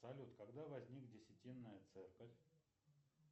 салют когда возникла десятинная церковь